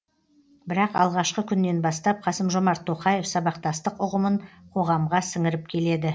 бірақ алғашқы күннен бастап қасым жомарт тоқаев сабақтастық ұғымын қоғамға сіңіріп келеді